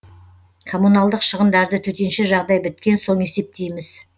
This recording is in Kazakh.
коммуналдық шығындарды төтенше жағдай біткен соң есептейміз